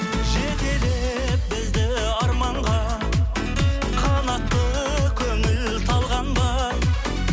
жетелеп бізді арманға қанатты көңіл талған ба